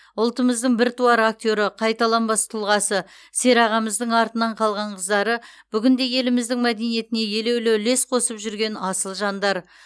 ұлтымыздың біртуар актері қайталанбас тұлғасы серағамыздың артынан қалған қыздары бүгінде еліміздің мәдениетіне елеулі үлес қосып жүрген асыл жандар